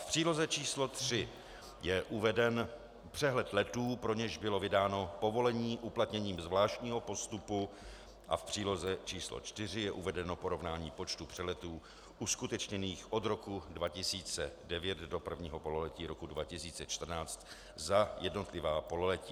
V příloze číslo 3 je uveden přehled letů, pro něž bylo vydáno povolení uplatněním zvláštního postupu, a v příloze číslo 4 je uvedeno porovnání počtu přeletů uskutečněných od roku 2009 do prvního pololetí roku 2014 za jednotlivá pololetí.